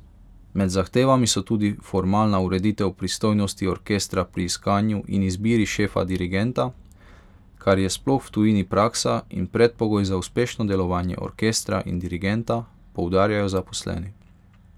Med zahtevami so tudi formalna ureditev pristojnosti orkestra pri iskanju in izbiri šefa dirigenta, kar je sploh v tujini praksa in predpogoj za uspešno delovanje orkestra in dirigenta, poudarjajo zaposleni.